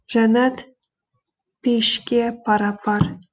жәннат пейішке пара пар